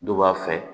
Du b'a fɛ